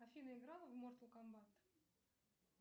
афина играла в мортал комбат